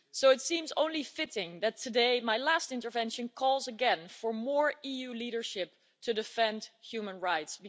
So it seems only fitting that today my last intervention calls again for more EU leadership to defend human rights.